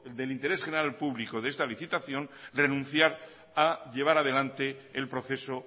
del interés general público de esta licitación renunciar a llevar adelante el proceso